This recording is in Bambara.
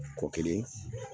Kɔ kelen